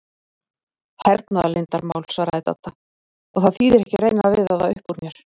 Hernaðarleyndarmál svaraði Dadda, og það þýðir ekki að reyna að veiða það upp úr mér